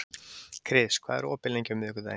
Kris, hvað er opið lengi á miðvikudaginn?